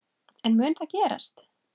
En mun það gerast?